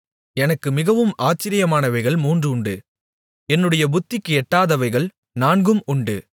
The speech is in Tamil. எனக்கு மிகவும் ஆச்சரியமானவைகள் மூன்று உண்டு என்னுடைய புத்திக்கு எட்டாதவைகள் நான்கும் உண்டு